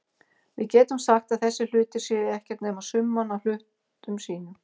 Við getum sagt að þessir hlutir séu ekkert nema summan af hlutum sínum.